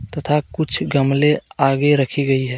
तथा कुछ गमले आगे रखी गई है.